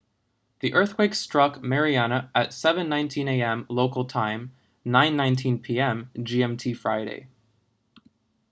the eathquake struck mariana at 07:19 a.m. local time 09:19 p.m. gmt friday